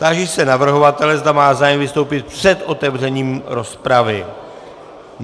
Táži se navrhovatele, zda má zájem vystoupit před otevřením rozpravy.